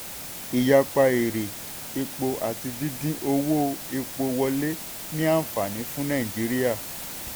ìyapa èrè epo àti dídín owó epo wọlé ní ànfàní fún nàìjíríà.